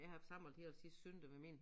Jeg har haft samlet hele sidste søndag med min